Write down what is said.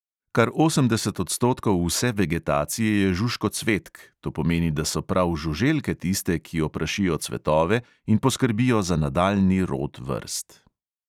Kar osemdeset odstotkov vse vegetacije je žužkocvetk, to pomeni, da so prav žuželke tiste, ki oprašijo cvetove in poskrbijo za nadaljnji rod vrst.